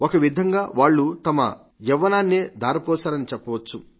ఒకవిధంగా వాళ్లు తమ యవ్వనాన్నే ధారపోశారని చెప్పవచ్చు